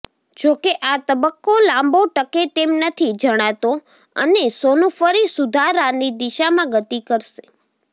જોકે આ તબક્કો લાંબો ટકે તેમ નથી જણાતો અને સોનું ફરી સુધારાની દિશામાં ગતિ કરશે